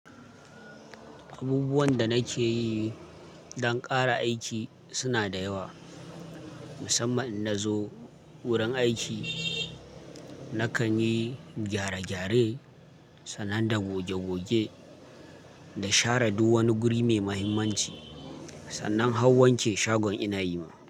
Abubuwan da nake yi dan ƙara aiki suna da yawa, musamman in nazo wurin aiki nakan yi gyare-gyare sannan da goge-goge da share du wani guri mai muhimmanci sannan hau wanke shagon ina yi ma.